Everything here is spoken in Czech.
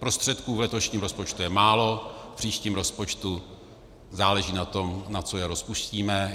Prostředků v letošním rozpočtu je málo, v příštím rozpočtu záleží na tom, na co je rozpustíme.